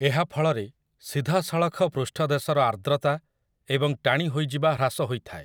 ଏହା ଫଳରେ, ସିଧାସଳଖ ପୃଷ୍ଠଦେଶର ଆର୍ଦ୍ରତା ଏବଂ ଟାଣି ହୋଇଯିବା ହ୍ରାସ ହୋଇଥାଏ ।